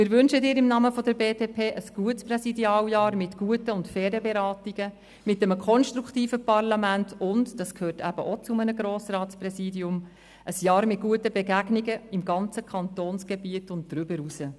Wir wünschen Ihnen im Namen der BDP ein gutes Präsidialjahr mit guten und fairen Beratungen, mit einem konstruktiven Parlament und – das gehört eben auch zu einem Grossratspräsidium – ein Jahr mit guten Begegnungen im ganzen Kantonsgebiet und darüber hinaus.